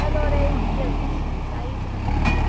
Melhorei uns diazinhos, daí começou de novo.